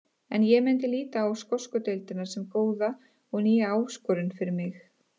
En ég myndi líta á skosku deildina sem góða og nýja áskorun fyrir mig.